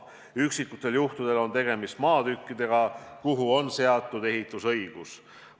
Üksikutel juhtudel on tegemist maatükkidega, millele on seatud ehitusõigus.